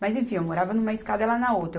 Mas enfim, eu morava numa escada, ela na outra.